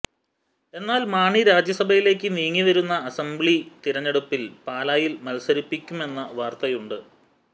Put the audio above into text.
എന്നാൽ മാണി രാജ്യസഭയിലേക്ക് നീങ്ങി വരുന്ന അസംബ്ലി തെരഞ്ഞെടുപ്പിൽ പാലായിൽ മത്സരിപ്പിക്കുമെന്ന വാർത്തയുമുണ്ട്